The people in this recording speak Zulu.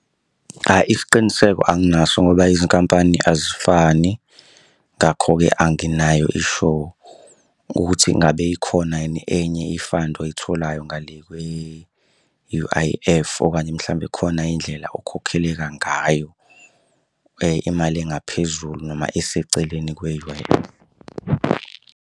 Isiqiniseko anginaso ngoba izinkampani azifani, ngakho-ke anginayo i-sure ukuthi ngabe ikhona yini enye i-fund oyitholayo ngale kwe-U_I_F okanye mhlawumbe khona indlela okhokheleka ngayo imali engaphezulu noma eseceleni kwe-U_I_F.